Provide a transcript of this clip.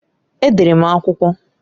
Edere m akwụkwọ.